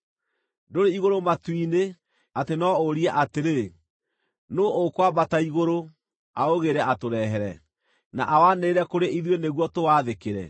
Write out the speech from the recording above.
Ndũrĩ igũrũ matu-inĩ, atĩ no ũrie atĩrĩ, “Nũũ ũkwambata igũrũ, aũgĩĩre atũrehere, na awanĩrĩre kũrĩ ithuĩ nĩguo tũwathĩkĩre?”